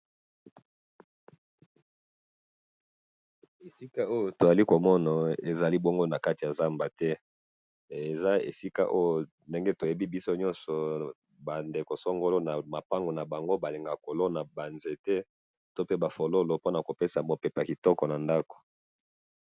esika oyo tozali komona ezali ezali bongo esika ya zamba te he eza esika ndenge toyebi biso nyonso ba ndeko songolo balingaka kolonga ba nzete to pe na fololo pona kopesa mupepe kitoko na ndaku.